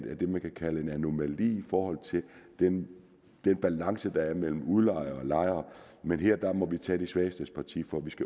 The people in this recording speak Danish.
af det man kan kalde en anomali i forhold til den balance der er mellem udlejer og lejer men her må vi tage de svagestes parti for